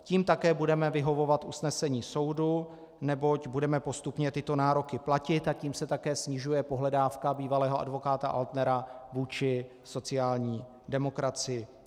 Tím také budeme vyhovovat usnesení soudu, neboť budeme postupně tyto nároky platit, a tím se také snižuje pohledávka bývalého advokáta Altnera vůči sociální demokracii.